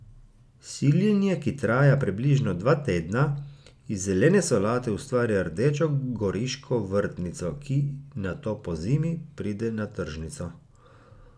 Siljenje, ki traja približno dva tedna, iz zelene solate ustvari rdečo goriško vrtnico, ki nato pozimi pride na tržnico.